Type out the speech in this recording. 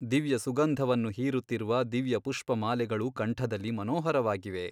ದಿವ್ಯಸುಂಗಧವನ್ನು ಹೀರುತ್ತಿರುವ ದಿವ್ಯಪುಷ್ಪಮಾಲೆಗಳು ಕಂಠದಲ್ಲಿ ಮನೋಹರವಾಗಿವೆ.